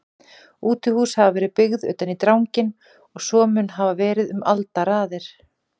Útihús hafa verið byggð utan í dranginn og svo mun hafa verið um aldaraðir.